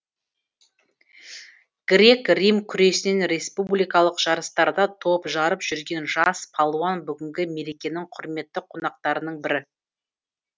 грек рим күресінен республикалық жарыстарда топ жарып жүрген жас палуан бүгінгі мерекенің құрметті қонақтарының бірі